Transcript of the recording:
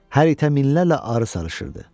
Hər itə minlərlə arı salışırdı.